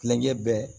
Kilenkɛ bɛɛ